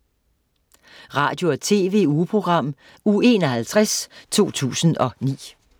Radio- og TV-ugeprogram Uge 51, 2009